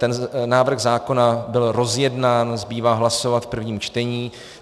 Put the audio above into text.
Ten návrh zákona byl rozjednán, zbývá hlasovat v prvním čtení.